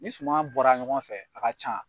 Ni suma bɔra ɲɔgɔn fɛ, a ka ca.